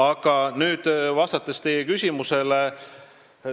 Aga vastan teie küsimusele.